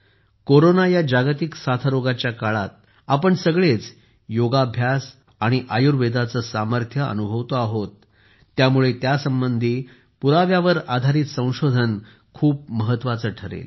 corona या जागतिक साथरोगाच्या काळात आपण सगळेच योगाभ्यास आणि आयुर्वेदाचे सामर्थ्य अनुभवतो आहोत त्यामुळेत्यासंबंधी पुराव्यावर आधारित संशोधन खूप महत्त्वाचे ठरेल